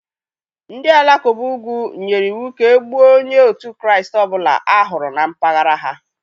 Ndị Alakụba ugwu nyere iwu ka e gbuo onye òtù Kraịst ọ bụla a hụrụ na mpaghara ha.